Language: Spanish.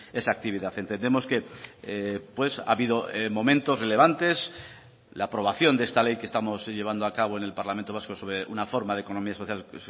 esa actividad entendemos que ha habido momentos relevantes la aprobación de esta ley que estamos llevando a cabo en el parlamento vasco sobre una forma de economía social